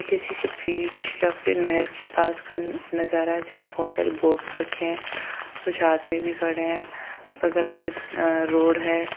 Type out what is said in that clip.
किसी के पीछे या फिर नहर के पास का नजारा जहां बहुत सारी बोट रखी है कुछ आदमी भी खड़े है बगल से रोड तो है।